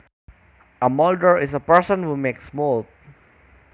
A molder is a person who makes molds